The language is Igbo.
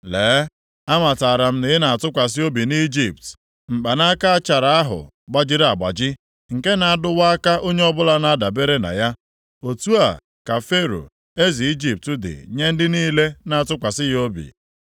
Lee, amatara m na ị na-atụkwasị obi nʼIjipt, mkpanaka achara ahụ gbajiri agbaji, nke na-adụwa aka onye ọbụla na-adabere na ya. Otu a ka Fero, eze Ijipt dị nye ndị niile na-atụkwasị ya obi.